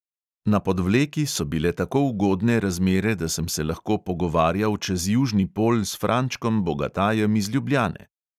Na podvleki so bile tako ugodne razmere, da sem se lahko pogovarjal čez južni pol s frančkom bogatajem iz ljubljane.